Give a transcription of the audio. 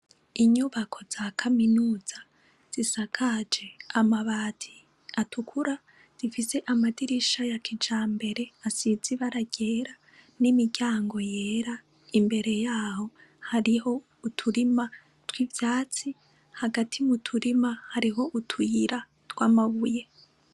Inyubako za kaminuza zisakaje amabati atukura zifise amadirisha ya kijambere asize ibara ryera n’imiryango yera imbere yaho hariho uturima twivyatsi hagati muturima hariho utuyira tw’amabuye.